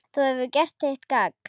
Þú hefur gert þitt gagn.